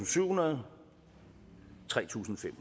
syvhundrede og tre tusind fem